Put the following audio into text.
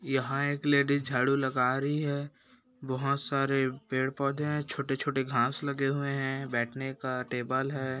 यहाँ एक लेडीज झाडू लगा रही है बहुत सारे पेड़ पौधे हैं छोटे-छोटे घास लगे हुए हैं बैठने का टेबल है।